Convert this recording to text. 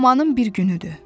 Amanın bir günüdür.